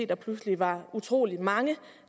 der pludselig var utrolig mange